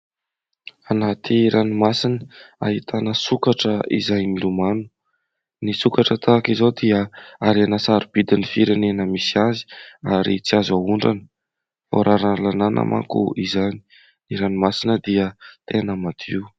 Anaty ranomasina ahitana sokatra izay milomano. Ny sokatra tahaka izao dia harena sarobidin' ny firenen misy azy ary tsy azo ahondrana. Voararan' ny lalàna manko izany. Ny ranomasina dia tena madio.